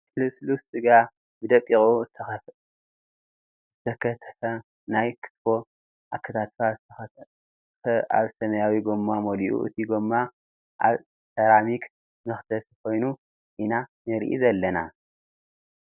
ቀይሕ ልስሉስ ስጋ ብደቂቁ ዝተከትፈ ናይ ክትፎ ኣከታትፋ ዝተከትፈ ኣብ ሰማያዊ ጎማ መሊኡ እቲ ጎማ ኣብ ሰራሚክ መክተፊ ኮይኑ ኢና ንርኢ ዘለና ።